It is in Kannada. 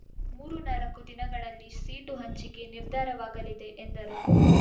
ಮೂರು ನಾಲ್ಕು ದಿನಗಳಲ್ಲಿ ಸೀಟು ಹಂಚಿಕೆ ನಿರ್ಧಾರವಾಗಲಿದೆ ಎಂದರು